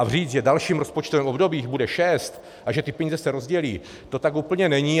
A říct, že v dalším rozpočtovém období jich bude šest a že se ty peníze rozdělí, to tak úplně není.